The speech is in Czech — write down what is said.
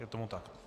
Je tomu tak?